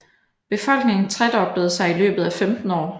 Befolkningen tredoblede sig i løbet af 15 år